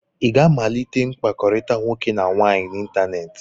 Ị ga-amalite mkpakọrịta nwoke na nwaanyị n'ịntanetị?